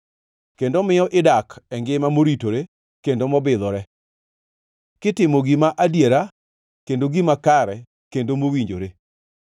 kendo miyo idak e ngima moritore kendo mobidhore kitimo gima adiera kendo gima kare kendo mowinjore,